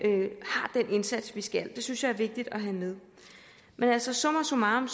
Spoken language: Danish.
indsats som vi skal have det synes jeg er vigtigt at have med men altså summa summarum